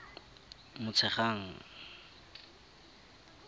motshegang